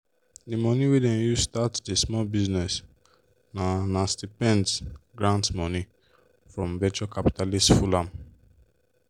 the money wey them use start the small business na na stipends grants money from venture capitalists full am.